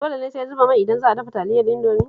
Dole ne sai zuba mai idan za a dafa Taliyar Indomi?